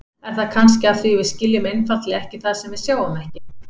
Er það kannski af því við skiljum einfaldlega ekki það sem við sjáum ekki?